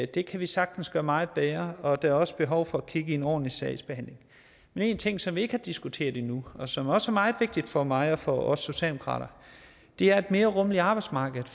det kan vi sagtens gøre meget bedre og der er også behov for at kigge på en ordentlig sagsbehandling men en ting som vi ikke har diskuteret endnu og som også er meget vigtig for mig og for os socialdemokrater er et mere rummeligt arbejdsmarked